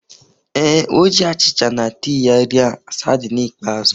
Ee, O ji achịcha na tii ya rie sardine ikpeazụ.